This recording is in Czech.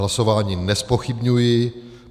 Hlasování nezpochybňuji.